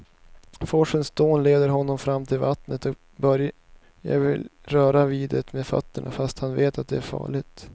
Forsens dån leder honom fram till vattnet och Börje vill röra vid det med fötterna, fast han vet att det är farligt.